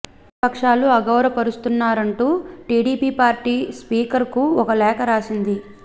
ప్రతిపక్షాలను అగౌరవ పరుస్తున్నారంటూ టిడిపి పార్టీ స్పీకర్ కు ఓ లేఖ రాసింది